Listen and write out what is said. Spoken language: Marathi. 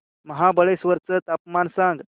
महाबळेश्वर चं तापमान सांग